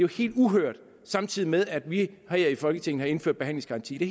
helt uhørt samtidig med at vi her i folketinget har indført behandlingsgaranti det